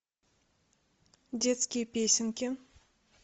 детские песенки